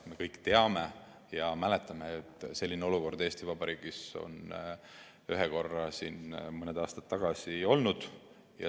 Me kõik teame ja mäletame, et selline olukord Eesti Vabariigis on ühe korra mõni aasta tagasi olnud.